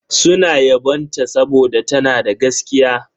Suna yabon ta saboda tana da gaskiya.